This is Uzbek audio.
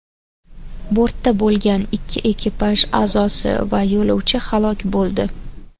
Bortda bo‘lgan ikki ekipaj a’zosi va yo‘lovchi halok bo‘ldi.